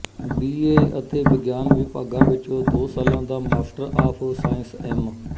B A ਅਤੇ ਵਿਗਿਆਨ ਵਿਭਾਗਾਂ ਵਿੱਚ ਦੋ ਸਾਲਾਂ ਦਾ ਮਾਸਟਰ ਆਫ਼ ਸਾਇੰਸ ਐਮ